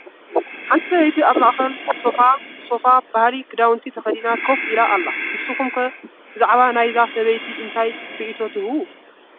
ሓንቲ ሰበይቲ ኣብ ማእኸላይ ሶፋ ባህላዊ ክዳውንቲ ተኸዲና ከፍ ኢላ ኣላ፡፡ ንስኻትኩም ከ ብዛዕባ ናይዛ እዛ ሰበይቲ እንታይ ሪኤቶ ትህቡ፡፡?